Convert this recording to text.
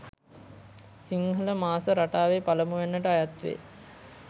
සිංහල මාස රටාවේ පළමුවැන්නට අයත් වේ.